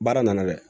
Baara nana dɛ